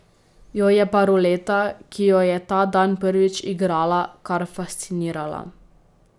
Jo je pa ruleta, ki jo je ta dan prvič igrala, kar fascinirala.